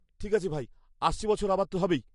ঠিক আছে ভাই, আসছে বছর আবার তো হবেই।